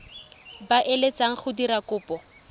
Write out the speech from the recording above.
ba eletsang go dira kopo